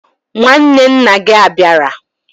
Nwanne na gia abiara?